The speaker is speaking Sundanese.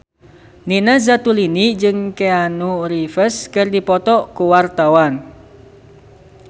Nina Zatulini jeung Keanu Reeves keur dipoto ku wartawan